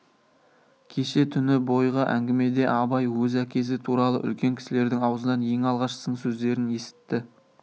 кеше түні бойғы әңгімеде абай өз әкесі туралы үлкен кісілердің аузынан ең алғаш сын сөздерін есітті